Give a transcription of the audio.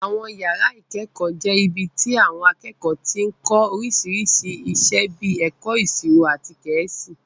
Àwọn yàrá ìkẹ́kọ̀ọ́ jẹ́ ibi tí àwọn akẹ́kọ̀ọ́ ti ń kọ́ oríṣiríṣi iṣẹ́ bíi ẹ̀kọ́ ìṣirò àti Gẹ̀ẹ́sì